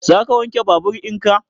Za ka wanke babur in ka?